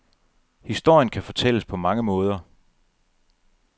Historien kan fortælles på mange måder.